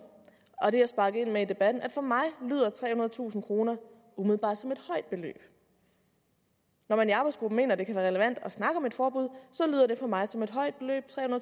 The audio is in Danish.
og det jeg sparkede ind med i debatten at for mig lyder trehundredetusind kroner umiddelbart som et højt beløb når arbejdsgruppen mener det kan være relevant at snakke om et forbud så lyder det for mig som et højt beløb